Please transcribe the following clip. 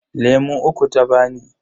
Lemu uku ta bani.